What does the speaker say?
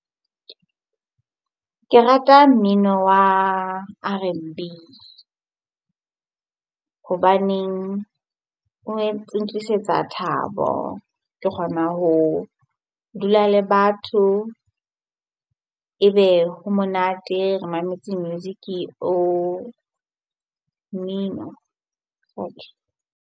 Ke rata mmino wa R_N_B hobaneng o entse ntlisetsa thabo, ke kgona ho dula le batho ebe ha monate ho re mametse music o mmino .